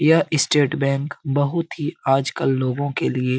यह स्टेट बैंक बहुत ही आजकल लोगों के लिए --